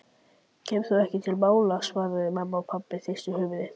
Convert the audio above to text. Kemur ekki til mála svaraði mamma og pabbi hristi höfuðið.